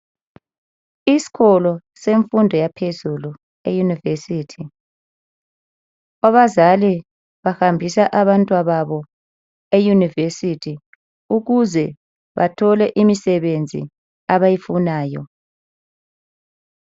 Iskolo semfundo yaphezulu eyunivesithi. Abazali bahambisa abantwa babo eyunivesithi ukuze bathole imisebenzi abayifunayo.